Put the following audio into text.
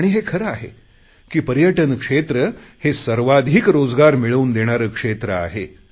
आणि हे खरे आहे पर्यटन क्षेत्र हे सर्वाधिक रोजगार मिळवून देणारे क्षेत्र आहे